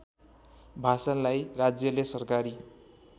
भाषालाई राज्यले सरकारी